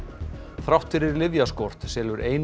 þrátt fyrir lyfjaskort selur eina